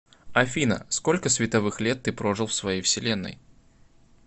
афина сколько световых лет ты прожил в своей вселенной